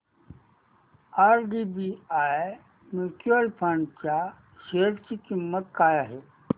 IDBI mutual fund च्या share ची किंमत काय आहे